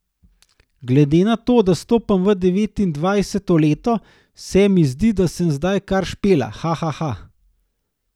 Glede na to, da stopam v devetindvajseto leto, se mi zdi, da sem zdaj kar Špela, haha.